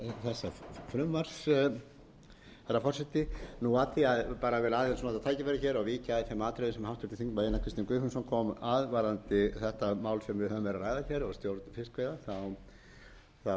þessa frumvarps herra forseti ég vil aðeins nota tækifærið hér og víkja að þeim atriðum sem háttvirtur þingmaður einar kristinn guðfinnsson kom að varðandi þetta mál sem við höfum verið að ræða hér um stjórn fiskveiða og tengist